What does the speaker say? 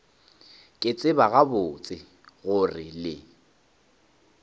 ke tseba gabotse gore le